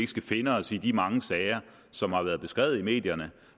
skal finde os i de mange sager som har været beskrevet i medierne